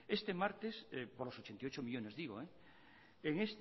este martes por los ochenta y ocho millónes digo en